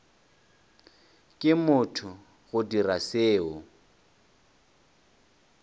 ke motho go dira seo